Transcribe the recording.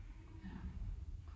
Ja